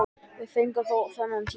Við fengum þó þennan tíma.